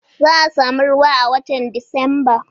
Za'a samu ruwa a watan Disamba